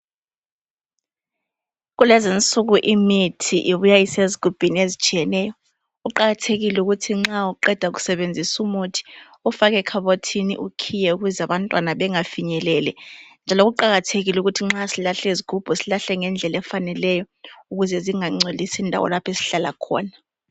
Kulezinsuku imithi ibuya isezigubhini ezitshiyeneyo, kuqakathekile ukuthi nxa uqeda ukusebenzisa umuthi ufake ekhabothini ukhiye ukuze abantwana bangafinyeleli njalo kuqakathekile ukuthi nxa silahla izigubhu, silahle ngendlela efaneleyo ukuze zingangcolisi indawo lapho esihlala khona